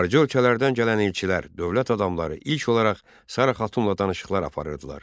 Xarici ölkələrdən gələn elçilər, dövlət adamları ilk olaraq Sara Xatunla danışıqlar aparırdılar.